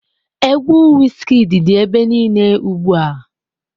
Egwu Wizkid dị ebe niile ugbu a.